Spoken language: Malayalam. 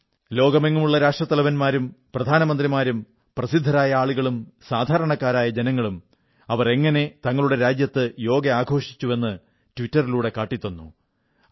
ലോകമെങ്ങുമുള്ള രാഷ്ട്രത്തലവന്മാരും പ്രധാനമന്ത്രിമാരും പ്രസിദ്ധരായ ആളുകളും സാധാരണക്കാരായ ജനങ്ങളും അവർ എങ്ങനെ തങ്ങളുടെ രാജ്യത്ത് യോഗ ആഘോഷിച്ചു എന്ന് ട്വിറ്ററിലൂടെ കാട്ടിത്തന്നു